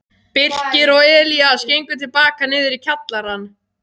Birkir og Elías gengu til baka niður í kjallarann.